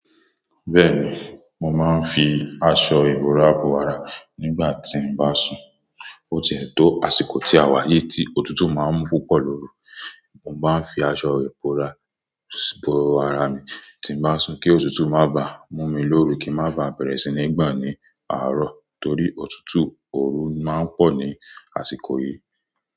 Bẹ́ẹ̀ni, mo máa ń fi aṣọ ìbora bọ ara nígbà tí n bá sùn. Ó ti ẹ̀ tó àsìkò tí àwa yí tí otútù máa ń púpọ̀ lóru, mo bá ń fi aṣọ ìbora bọ ara mi tí bá sùn kí otútù má bá mú mi lóru kí n má bá bẹ̀rẹ̀ sí ní gbà ní àárọ̀ torí otútù òru má ń pọ̀ ní àsìkò yìí.